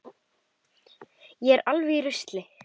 Ég er alveg í rusli.